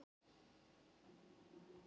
Alls eru